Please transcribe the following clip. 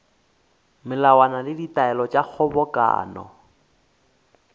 melawana le ditaelo tša kgobokano